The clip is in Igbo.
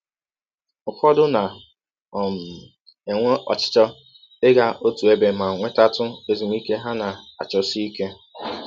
Ụfọdụ na um - enwe ọchịchọ ịga ọtụ ebe ma nwetatụ ezụmịke ha na - achọsi ike.